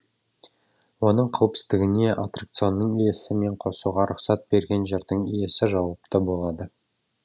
оның қауіпсіздігіне аттракционның иесі мен қосуға рұқсат берген жердің иесі жауапты болады